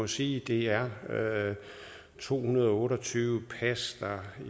sige at det er to hundrede og otte og tyve pas der